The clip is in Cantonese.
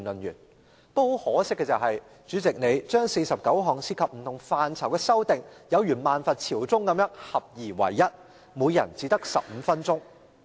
不過很可惜，主席把49項涉及不同範疇的修訂建議有如"萬佛朝宗"般合而為一，每人只可發言15分鐘。